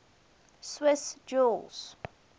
swiss jews